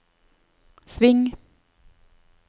sving